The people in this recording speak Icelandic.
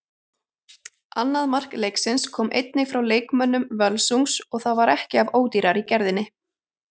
Annað mark leiksins kom einnig frá leikmönnum Völsungs og það var ekki af ódýrari gerðinni.